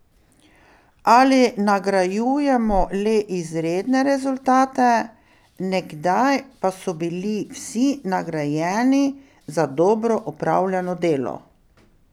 Ali nagrajujemo le izredne rezultate, nekdaj pa so bili vsi nagrajeni za dobro opravljeno delo?